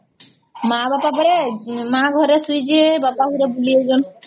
ମା ବାପା ପରା ମା ଘରେ ଶୋଇଛି ବାପା କୁଆଡେ ବୁଲିବାକୁ ଯାଇଛନ